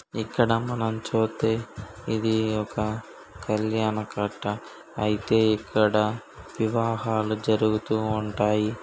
ఇక్కడ మనం చూస్తే ఇది ఒక కళ్యాణ కట్ట. అయితే ఇక్కడ వివాహాలు జరుగుతూ ఉంటాయి.